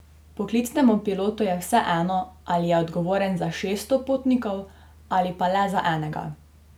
Poklicnemu pilotu je vseeno, ali je odgovoren za šeststo potnikov ali pa le za enega.